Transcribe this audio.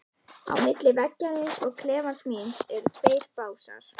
Á milli veggjarins og klefans míns eru tveir básar.